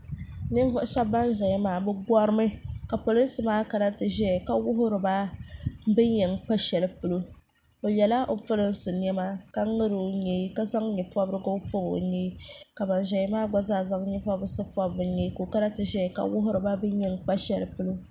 ninvuɣ' shɛba ban zaya korimi ka pɛrinsi maa kan ti ʒɛya ka wuhiriba bɛn ya kpa ahɛlipolo be yala b pɛrinsi nɛma ka ŋɔri o nyɛɛ ka zaŋ nyɛporigu pobi o nyɛɛ ka ban ʒɛya maa gba zaŋ nyɛɛ porisi pobi be nyɛɛ kana ti ʒɛya ka wuhiba bɛn yan kpa shɛli polo